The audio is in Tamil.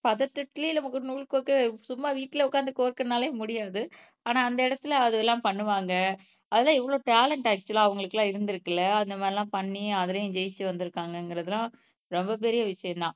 பதட்டத்திலே நமக்கு ஒரு நூல் கோக்க சும்மா வீட்டுல உட்கார்ந்து கோர்க்கனாலே முடியாது ஆனா அந்த இடத்துல அதெல்லாம் பண்ணுவாங்க அதெல்லாம் எவ்வளவு டேலேண்ட் ஆக்ச்சுவலா அவங்களுக்கு எல்லாம் இருந்திருக்குல்ல அந்த மாதிரி எல்லாம் பண்ணி அதுலயும் ஜெயிச்சு வந்திருக்காங்கங்கிறதெல்லாம் ரொம்ப பெரிய விஷயம்தான்.